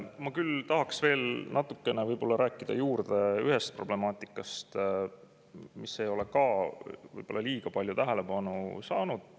Ma küll tahaks veel natukene rääkida juurde ühest problemaatikast, mis ei ole võib-olla liiga palju tähelepanu saanud.